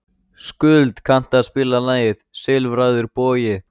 Skuld, kanntu að spila lagið „Silfraður bogi“?